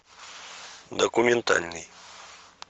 документальный